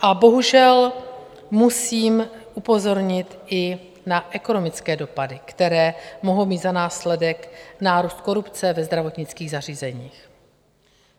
A bohužel musím upozornit i na ekonomické dopady, které mohou mít za následek nárůst korupce ve zdravotnických zařízeních.